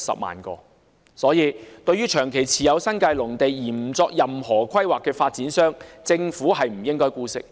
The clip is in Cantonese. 因此，對於長期持有新界農地而不作任何規劃的發展商，政府不應該姑息。